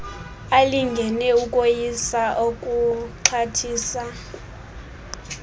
alingene ukoyisa okokuxhathisa